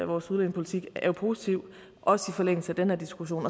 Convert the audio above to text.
vores udlændingepolitik er jo positiv også i forlængelse af den her diskussion